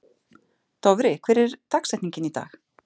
Dofri, hver er dagsetningin í dag?